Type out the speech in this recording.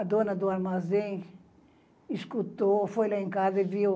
A dona do armazém escutou, foi lá em casa e viu